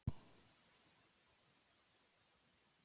Ótrúleg björgun níu ára pilts